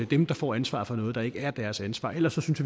dem der får ansvaret for noget der ikke er deres ansvar ellers synes